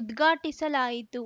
ಉದ್ಘಾಟಿಸಲಾಯಿತು